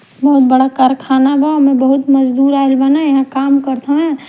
बहुत कारख़ाना बा ओह में बहुत मजदूर आइल बाने यहाँ काम करत हौवेन--